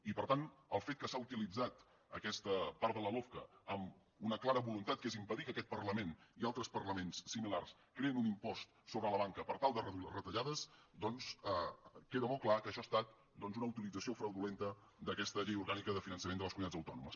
i per tant el fet que s’ha utilitzat aquesta part de la lofca amb una clara voluntat que és impedir que aquest parlament i altres parlaments similars creïn un impost sobre la banca per tal de reduir les retallades doncs queda molt clar que això ha estat doncs una utilització fraudulenta d’aquesta llei orgànica de finançament de les comunitats autònomes